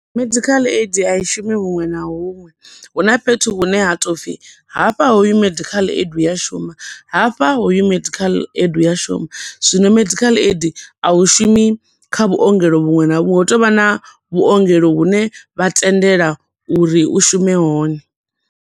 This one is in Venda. Medical ai a i shumi huṅwe na huṅwe, hu na fhethu hune ha to pfi hafha hoyu medical aid u a shuma, hafha hoyu medical aid u a shuma, zwino medical aid a u shumi kha vhuongelo vhuṅwe na vhuṅwe, hu tovha na vhuongelo vhune vha tendela uri u shume hone.